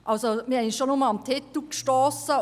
Wir haben uns schon nur am Titel gestossen.